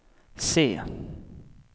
C